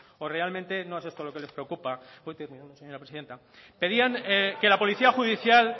o realmente no es esto lo que les preocupa voy terminando señora presidenta pedían que la policía judicial